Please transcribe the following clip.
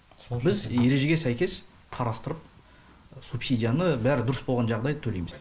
біз ережеге сәйкес қарастырып субсидияны бәрі дұрыс болған жағдай төлейміз